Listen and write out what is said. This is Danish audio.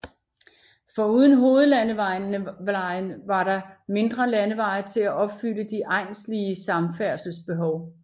Foruden hovedlandeveje var der der mindre landeveje til at opfylde de egnslige samfærdselsbehov